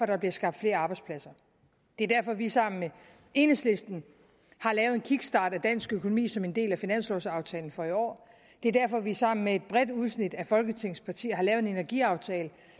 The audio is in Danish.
der bliver skabt flere arbejdspladser det er derfor at vi sammen med enhedslisten har lavet en kickstart af dansk økonomi som en del af finanslovaftalen for i år det er derfor at vi sammen med et bredt udsnit af folketingets partier har lavet en energiaftale